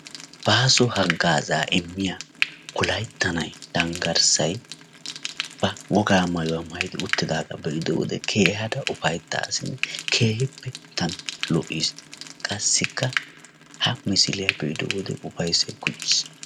baaso hagaazaa immiya wolaytta na''ay dangarssay ba wogaa maayuwa maayidi uttidaagaa be'ido wode keehaada ufayttaas. keehippe gita lo'ees. qassikka ha missiliya be'ido wode ufaysay kummis..